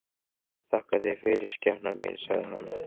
Þakka þér fyrir, skepnan mín, sagði hann.